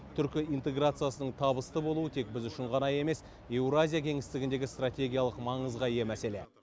түркі интеграциясының табысты болуы тек біз үшін ғана емес еуразия кеңістігіндегі стратегиялық маңызға ие мәселе